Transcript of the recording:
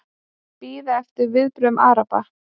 Bíða eftir viðbrögðum Araba